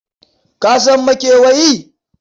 Ka san makewayi?